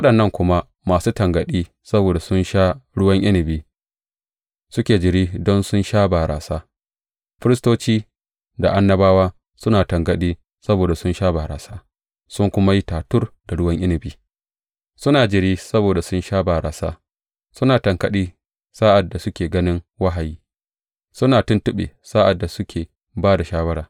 Da waɗannan kuma masu tangaɗi saboda sun sha ruwan inabi suke jiri don sun sha barasa Firistoci da annabawa suna tangaɗi saboda sun sha barasa sun kuma yi tatur da ruwan inabi; suna jiri saboda sun sha barasa, suna tangaɗi sa’ad da suke ganin wahayi, suna tuntuɓe sa’ad da suke ba da shawara.